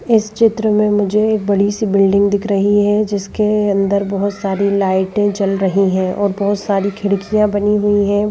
इस चित्र में मुझे एक बड़ी सी बिल्डिंग दिख रही है जिसके अंदर बहुत सारी लाइटें जल रही हैं और बहुत सारी खिड़कियां बनी हुई हैं।